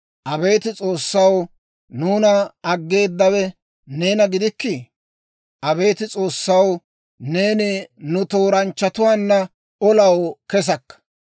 Abeet S'oossaw, nuuna aggeedawe neena gidikkii? Abeet S'oossaw, neeni nu tooranchchatuwaanna olaw kesakka.